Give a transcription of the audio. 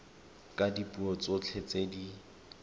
ka dipuo tsotlhe tse di